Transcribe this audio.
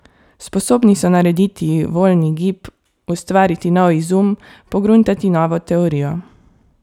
Sposobni so narediti voljni gib, ustvariti nov izum, pogruntati novo teorijo.